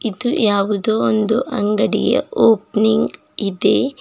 ಮತ್ತು ಯಾವುದೋ ಒಂದು ಅಂಗಡಿಯ ಓಪನಿಂಗ್ ಇದೆ.